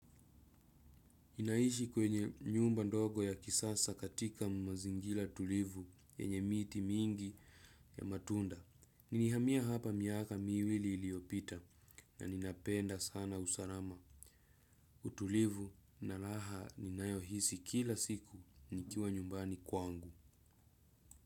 Naishi kwenye nyumba ndogo ya kisasa katika mazingira tulivu yenye miti mingi ya matunda. Nilihamia hapa miaka miwili iliopita na ninapenda sana usalama. Utulivu na raha ninayohisi kila siku nikiwa nyumbani kwangu.